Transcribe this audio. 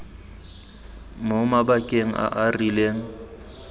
mo mabakeng a a rileng